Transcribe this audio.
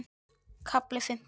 KAFLI FIMMTÁN